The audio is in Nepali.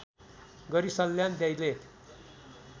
गरी सल्यान दैलेख